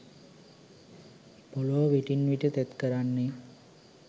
පොලව විටින් විට තෙත් කරන්නේ